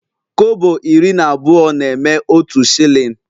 Kobo iri na abụọ na-eme otu shilling